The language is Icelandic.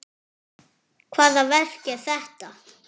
En hvaða verk er þetta?